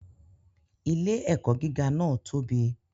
Ilé-ẹ̀kọ́ gíga náà tóbi.